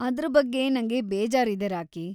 ಅದ್ರ ಬಗ್ಗೆ ನಂಗೆ ಬೇಜಾರಿದೆ, ರಾಕಿ.